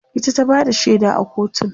ita ta Bada shaida a kotun